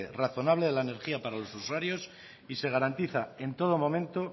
razonable de energía para los usuarios y se garantiza en todo momento